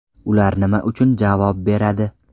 Ular nima uchun javob beradi?